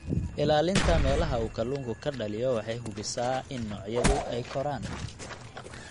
Ilaalinta meelaha uu kalluunku ka dhaliyo waxay hubisaa in noocyada ay koraan.